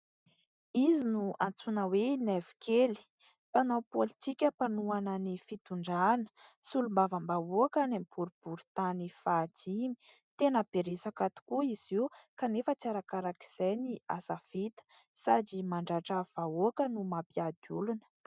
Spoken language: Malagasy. Izy no antsoina hoe Naivo kely mpanao paolitika, mpanohana ny fitondrana, solombavam-bahoaka an' ny boriboritany fahadimy. Tena be resaka tokoa izy io kanefa tsy arakarak' izay ny asa vita sady mandratra vahoaka no mampiady olona.